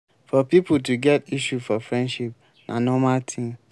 for pipo to get issue for friendship na normal thing